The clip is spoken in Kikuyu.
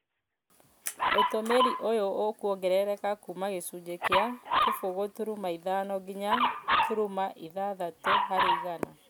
Ũtũmĩri ũyũ ũkongerereka kuuma gĩcunjĩ kĩa kĩbũgũ turuma ithano nginya turuma ithathatũ harĩ igana